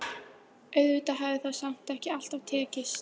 Auðvitað hafði það samt ekki alltaf tekist.